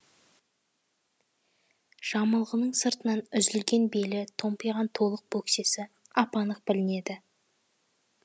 жамылғының сыртынан үзілген белі томпиған толық бөксесі ап анық білінеді